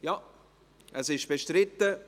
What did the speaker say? – Ja, es ist bestritten.